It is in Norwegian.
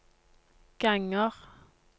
ganger